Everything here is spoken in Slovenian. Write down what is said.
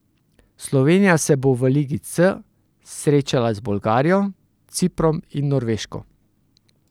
Slovenija se bo v ligi C srečala z Bolgarijo, Ciprom in Norveško.